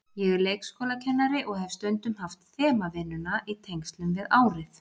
Ég er leikskólakennari og hef stundum haft þemavinnuna í tengslum við árið.